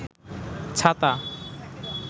ছাতা